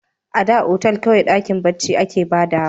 A da otal kawai dakin barci a ke ba da wa